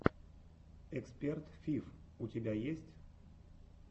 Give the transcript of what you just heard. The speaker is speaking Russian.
эксперт фиф у тебя есть